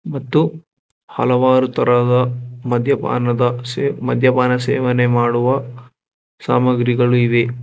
ಮತ್ತು ಹಲವಾರು ತರಹದ ಮದ್ಯಪಾನದ ಮದ್ಯಪಾನ ಸೇವನೆ ಮಾಡುವ ಸಾಮಗ್ರಿಗಳು ಇವೆ.